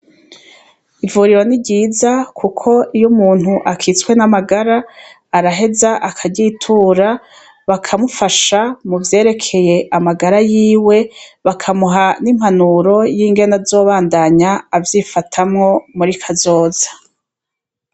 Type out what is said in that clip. Ivuriro ni ryiza, kuko iyo umuntu akitswe n' amagara, araheza akaryitura, bakamufasha mu vyerekeye amagara yiwe, bakamuha n' impanuro yingene azobandanya avyifatamwo muri kazoza.